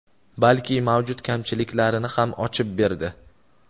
balki mavjud kamchiliklarini ham ochib berdi.